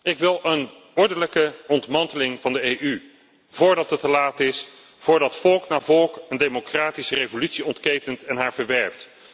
Ik wil een ordelijke ontmanteling van de EU voordat het te laat is, voordat volk na volk een democratische revolutie ontketent en haar verwerpt.